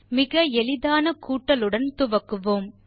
மிக எளிதான கூட்டலுடன் துவக்குவோம்